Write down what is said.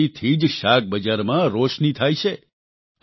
આ વીજળીથી જ શાકબજારમાં રોશની થાય છે